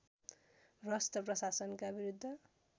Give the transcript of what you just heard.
भ्रष्ट प्रशासनका विरुद्ध